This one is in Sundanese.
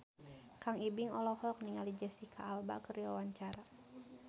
Kang Ibing olohok ningali Jesicca Alba keur diwawancara